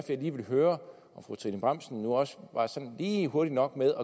jeg lige ville høre om fru trine bramsen nu ikke også var sådan lige hurtig nok med